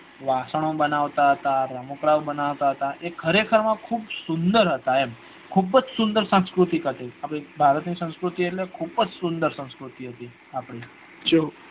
વાસણો બનવતા હતા રમકડાઓ બનાવતા હતા એ ખરે ખર માં ખુબ જ સુંદર હતા એમ ખુબ જ સુંદર સંસ્કૃતિ હતી અપડા ભારત ની સંસ્કૃતિ એટલે ખુબ જ સુંદર સંસ્કૃતિ હતી આપડી